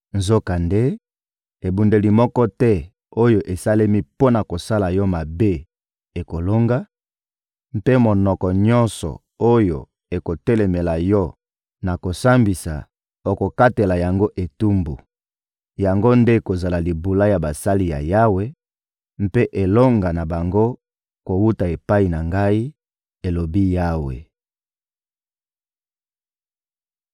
Nzokande, ebundeli moko te oyo esalemi mpo na kosala yo mabe ekolonga; mpe monoko nyonso oyo ekotelemela yo na kosambisa, okokatela yango etumbu. Yango nde ekozala libula ya basali ya Yawe, mpe elonga na bango kowuta epai na Ngai, elobi Yawe.